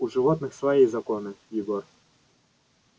у животных свои законы егор